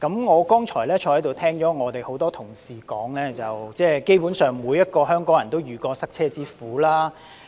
我剛才聽到很多同事說，基本上，每個香港人都遇過塞車之苦。